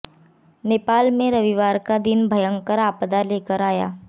नेपाल में रविवार का दिन भयंकर आपदा लेकर आया